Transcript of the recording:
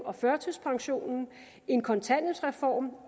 og førtidspensionen en kontanthjælpsreform